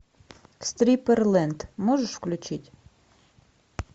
стриперлэнд можешь включить